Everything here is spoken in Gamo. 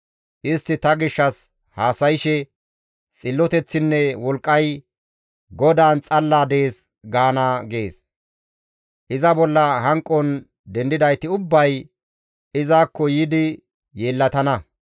«Istti ta gishshas haasayshe, ‹Xilloteththinne wolqqay GODAAN xalla dees› gaana» gees. Iza bolla hanqon dendidayti ubbay izakko yiidi yeellatana.